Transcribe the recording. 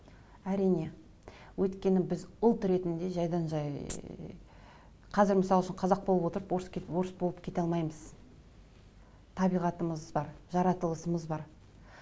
әрине өйткені біз ұлт ретінде жайдан жай қазір мысал үшін қазақ болып отырып орыс орыс болып кете алмаймыз табиғатымыз бар жаратылысымыз бар